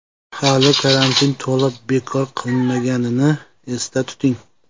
Hali karantin to‘la bekor qilinmaganini esda tuting.